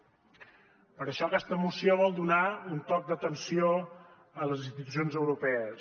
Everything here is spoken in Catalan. per això aquesta moció vol donar un toc d’atenció a les institucions europees